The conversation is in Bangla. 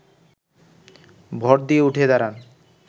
ভর দিয়ে উঠে দাঁড়ান